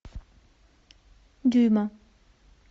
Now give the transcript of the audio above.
дюйма